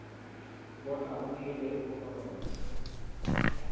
bona unikele ubufakazi